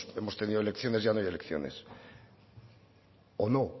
hemos tenido elecciones ya no hay elecciones o no